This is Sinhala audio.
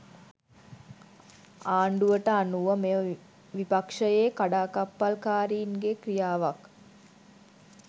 ආණ්ඩුවට අනුව මෙය විපක්ෂයේ කඩාකප්පල්කාරීන් ගේ ක්‍රියාවක්